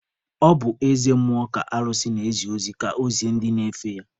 Ọ bụ eze mmụọ ka alụsị na-ezi ozi ka ọ zie ndị na-efe ya.